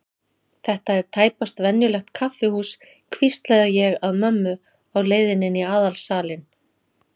Þetta er tæpast venjulegt kaffihús, hvísla ég að mömmu á leiðinni inn í aðalsalinn.